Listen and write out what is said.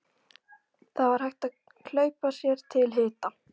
Það var hægt að hlaupa sér til hita.